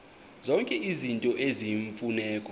zonke izinto eziyimfuneko